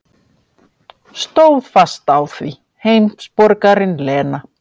Stóð fast á því, heimsborgarinn Lena.